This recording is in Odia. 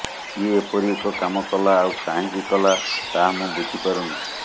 କିଏ ଏପରି ଏକ କାମ କଲା ଆଉ କାହିଁକି କଲା ତାହା ମୁଁ ବୁଝିପାରୁନି